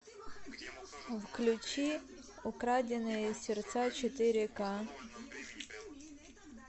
включи украденные сердца четыре ка